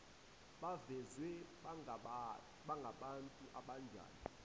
bavezwe bangabantu abanjani